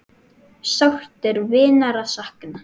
Sárt er vinar að sakna.